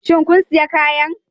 Shin kun sayi kayan?